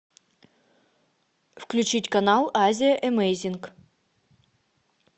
включить канал азия эмейзинг